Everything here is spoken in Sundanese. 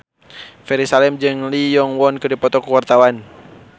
Ferry Salim jeung Lee Yo Won keur dipoto ku wartawan